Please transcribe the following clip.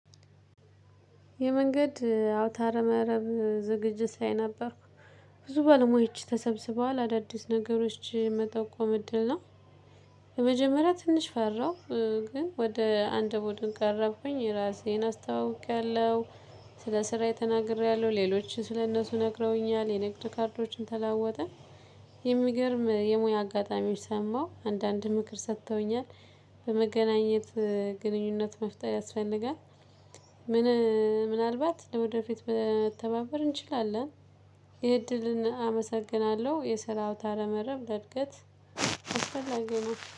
የመንገድ አውታረ መረብ ዝግጅት ላይ ነበርኩ ብዙ ባለሙያዎች ተሰብስበዋል አዳዲስ ነገሮች መጠቆም እድል ነው። በመጀመሪያ ትንሽ ፈራው ግን ወደ አንድ ቡድን ቀረብኩኝ ራሴን አስታውቂያለሁ። ስለ ስራዬ ተናግሬያለሁ ሌሎችን ስለእነሱ ነግረውኛል የንግድ ካርዶችን ተለዋወጠን። የሚገርም የሙያ አጋጣሚዎች ሰማሁ አንዳንድ ምክር ሰጥተውኛል። በመገናኘት ግንኙነት መፍጠር ያስፈልጋል። ምን? ምናልባት ለወደፊት መተባበር እንችላለን። የእድልን አመሰግናለሁ የስራ አውታረ መረብ ለእድገት አስፈላጊ ነው